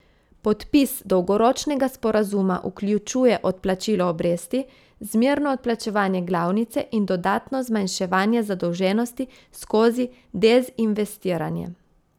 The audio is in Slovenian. Podpis dolgoročnega sporazuma vključuje odplačilo obresti, zmerno odplačevanje glavnice in dodatno zmanjševanje zadolženosti skozi dezinvestiranje.